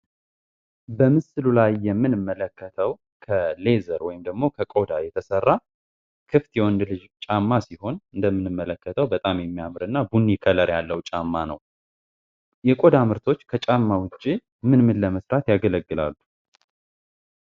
በምስሉ ላይ የምንመለከተው ከሌ ከቆዳ የተሰራ ክፍት የወንድ ልጅ ጫማ ሲሆን ጫማ እንደምንመለከተው በጣም የሚያምርና ቡኒ ቀለም ያለው ጫማ ነው የቆዳ ምርቶች ከጫማ ውጪ ምን ለመስራት ያገለግላሉ።